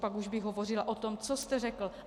Pak už bych hovořila o tom, co jste řekl.